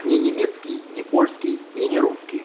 не немецкий не польский и не русский